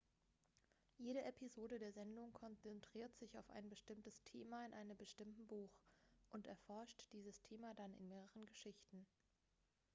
jede episode der sendung konzentriert sich auf ein thema in einem bestimmten buch und erforscht dieses thema dann in mehreren geschichten